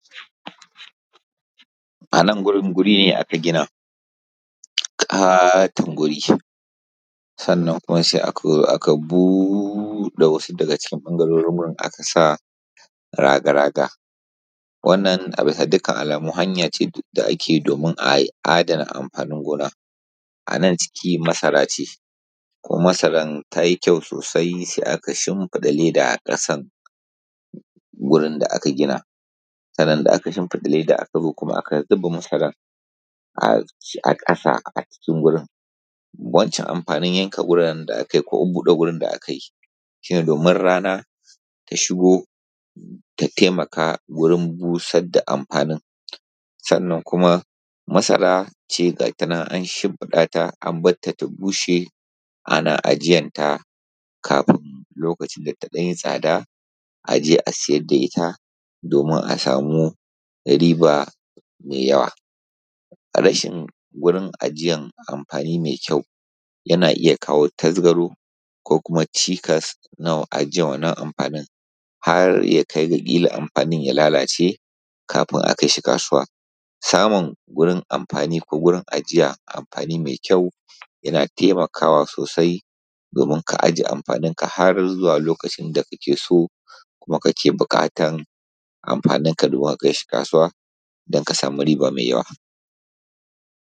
A nan gurin guri ne aka gina, ƙaton guri sannan kuma sai aka zo aka buɗe wasu daga ɓangarorin aka sa raga-raga. Wannan a bisa dukkan alamu hanya ce da ake domin a adana amfanin gona. A nan ciki masara ce kuma masaran ta yi ƙyau sosai sai aka shinfiɗa leda a ƙasan gurin da aka gina, sannan da aka shinfiɗa leda sai aka zo kuma aka zuba masara um a ƙasa a cikin gurin. Wancan amfanin yanka guri da aka yi ko bude gurin da aka yi, shine domin rana ta shigo ta taimaka gurin busar da amfani. Sannan kuma masara ce ga ta nan an shinfiɗa ta a barta ta bushe ana ajiyanta kafin lokacin da ta ɗan yi tsada aje a sayar da ita domin a samu riba me yawa. A rashin gurin ajiyan amfani mai ƙyau yana iya kawo tazgaro ko kuma cikas na ajiyar wannan amfani har ya kai ga ƙila amfani ya lalace kafin a kai shi kasuwa. Samun gurin amfani ko gurin ajiyar amfani mai ƙyau yana taimakawa sosai domin ka ajiye amfaninka har zuwa lokacin da kake so kuma kake bukatan amfaninka ka domin kai shi kasuwa don ka sama riba mai yawa.